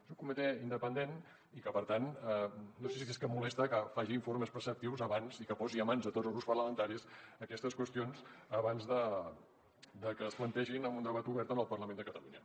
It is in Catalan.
és un comitè independent i per tant no sé si és que molesta que faci informes preceptius i que posi en mans de tots els grups parlamentaris aquestes qüestions abans de que es plantegin en un debat obert en el parlament de catalunya